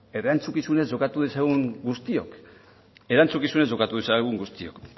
erantzukizunez jokatu dezagun guztiok erantzukizunez jokatu dezagun guztiok